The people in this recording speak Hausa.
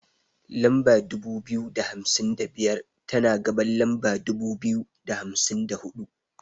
Lamba dubu biyu da hamsin da biyar, tana gaban lamba dubu biyu da hamsin da huɗu.